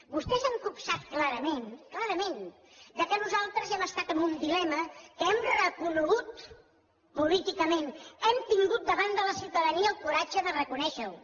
vostès han copsat clarament clarament que nosaltres hem estat en un dilema que hem reconegut políticament hem tingut davant de la ciutadania el coratge de reconèixer ho